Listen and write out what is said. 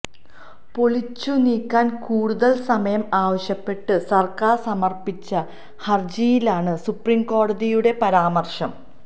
പൊളിച്ചുനീക്കാന് കൂടുതല് സമയം ആവശ്യപ്പെട്ട് സര്ക്കാര് സമര്പ്പിച്ച ഹര്ജിയിലാണ് സുപ്രീംകോടതിയുടെ പരാമര്ശം